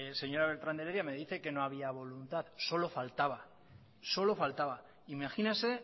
señora beltrán de heredia me dice que no había voluntad solo faltaba imagínese